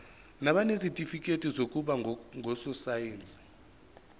nabanezitifikedi zokuba ngososayense